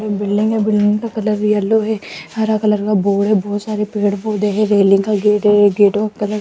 एक बिल्डिंग है बिल्डिंग का कलर येलो है हरा कलर का बोर्ड है बहोत सारे पेड़ पोधै लगे हैं रेलिंग का गेट है गेटो का कलर --